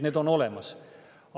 Need on olemas.